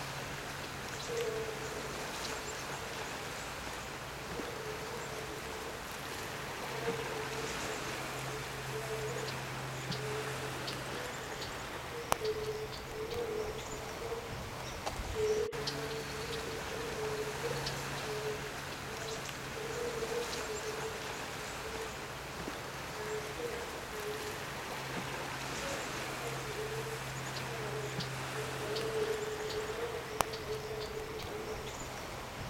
Haha ndĩrona nĩ mwana arathakĩra maaĩ, na maaĩ maya mena gĩko mũno. Haronekana nĩ handũ takataka citeagwo na haha ngwĩciria mwana ũyũ no akorwo akĩruta hau mĩrimũ mĩingĩ, mĩrimũ ĩrĩa ĩrehagwo nĩ maaĩ ma gĩko, na andũ matibatiĩ gũteaga gĩko rũĩ-inĩ, tondũ haronekana tarĩ karũĩ kanini.